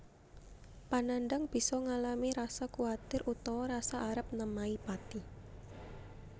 Panandhang bisa ngalami rasa kuwatir utawa rasa arep nemahi pati